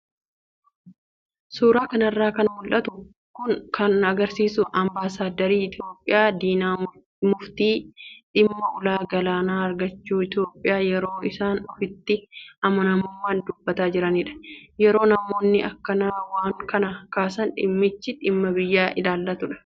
Suuraa kanarraa kan mul'atu kun kan agarsiisu ambaasaadarri Itoophiyaa Diinaa Muftii dhimma ulaa galaanaa argachuu Itoophiyaa yeroo isaan ofitti amanamummaan dubbataa jiranidha. Yeroo namoonni akkanaa waan kana kaasan dhimmichi dhimma biyya ilaallatudha.